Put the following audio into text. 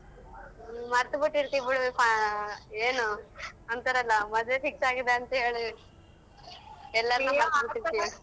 ಹೂಂ ಮರ್ತ್ ಬಿಟ್ಟಿರ್ತಿ ಬಿಡು ಫ, ಏನು ಅಂತಾರಲ್ಲಾ ಮದ್ವೆ fix ಆಗಿದೆ ಅಂತೇಳಿ